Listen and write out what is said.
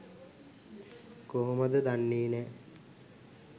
කොහොමද දන්නේ නෑ